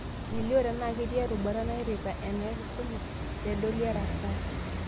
Melio tenaa ketii erubata nairrita enakisuma, peedoli erasaa